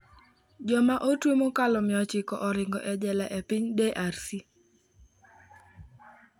Joma otwe mokalo 900 oringo e jela e piny DRC